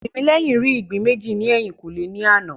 Tìmílẹ́yìn rí ìgbín méjì ní ẹ̀yìnkùlé ní àná